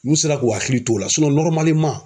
N'u sera k'u hakili t'o la